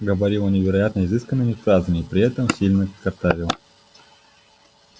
говорил он невероятно изысканными фразами и при этом сильно картавил